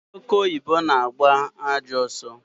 Ọke ọyibọ na-agba ajọọ ọsọ